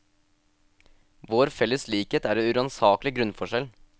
Vår felles likhet er en uransakelig grunnforskjell.